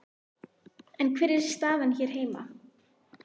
En hver er staðan hér heima?